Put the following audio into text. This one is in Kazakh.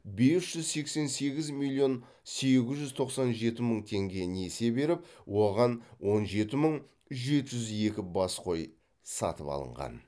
бес жүз сексен сегіз миллион сегіз жүз тоқсан жеті мың теңге несие беріп оған он жеті мың жеті жүз екі бас қой сатып алынған